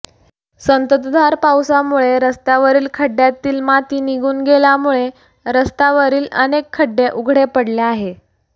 संततधार पावसामुळे रस्त्यावरील खड्ड्यातील माती निघून गेल्यामुळे रस्तावरील अनेक खड्डे उघडे पडले आहे